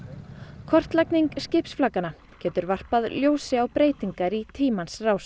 kortlagning getur varpað ljósi á breytingar í tímans rás